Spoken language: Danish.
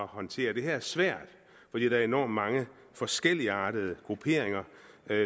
håndtere det her er svært fordi der er enormt mange forskelligartede grupperinger